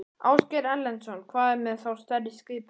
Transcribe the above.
Ásgeir Erlendsson: Hvað með þá stærri skipin?